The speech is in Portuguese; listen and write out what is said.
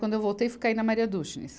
Quando eu voltei, fui cair na Maria Duschenes